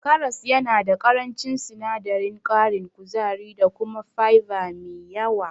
Karas yana da ƙarancin sinadarin ƙarin kuzari da kuma fiber me yawa.